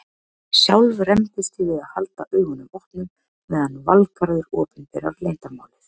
Sjálf rembist ég við að halda augunum opnum meðan Valgarður opinberar leyndarmálið.